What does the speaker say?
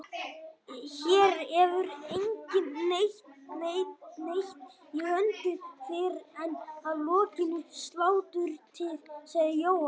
Hér hefur enginn neitt í höndunum fyrr en að lokinni sláturtíð, sagði Jóhann.